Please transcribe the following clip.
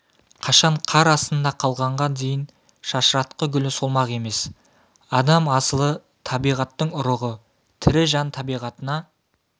қашан қар астында қалғанға дейін шашыратқы гүлі солмақ емес адам асылы табиғаттың ұрығы тірі жан табиғатына